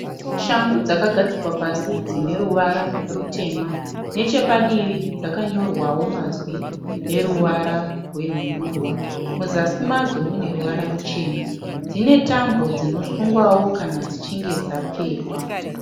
Shangu dzakagadzikwa pasi dzine ruvara rutema. Nechepadivi dzakanyorwawo mazwi neruvara rwenhundurwa. Muzasi madzo mune ruvara ruchena. Dzine tambo dzinosungwawo kana dzichinge dzapfekwa.